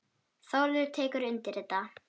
Þórður tekur undir þetta.